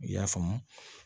I y'a faamu